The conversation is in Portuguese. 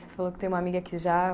Você falou que tem uma amiga que já.